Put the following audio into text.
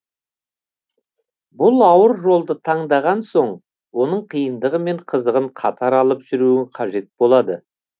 бұл ауыр жолды таңдаған соң оның қиындығы мен қызығын қатар алып жүруің қажет болады